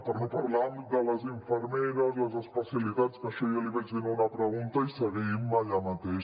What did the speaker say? per no parlar de les infermeres les especialitats que això ja l’hi vaig dir en una pregunta i seguim allà mateix